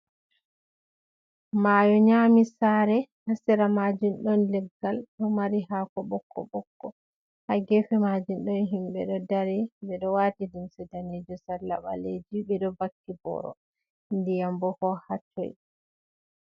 Mayo nyami sare, ha sera majun ɗon leggal ɗo mari hako bokko bokko, ha gefe majun ɗon himɓe ɗo dari ɓe ɗo wati limse danejum salla baleji, ɓe ɗo vakki boro, ndiyam bo ko ha toi.